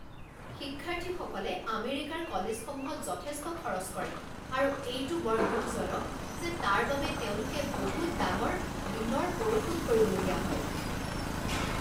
শিক্ষাৰ্থীসকলে আমেৰিকাৰ কলেজসমূহত যথেষ্ট খৰচ কৰে আৰু এইটো বৰ দুখজনক যে তাৰ বাবে তেওঁলোকে বহুত ডাঙৰ ঋণৰ পৰিশোধ কৰিবলগীয়া হয়।